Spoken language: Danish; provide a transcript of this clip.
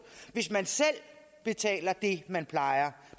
hvis man selv betaler det man plejer